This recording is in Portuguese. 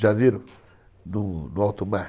Já viram no alto mar?